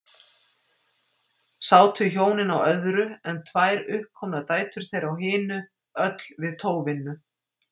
Sátu hjónin á öðru, en tvær uppkomnar dætur þeirra á hinu, öll við tóvinnu.